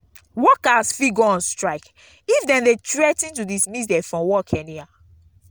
workers fit go on strike if dem de threa ten to dismiss them from work anyhow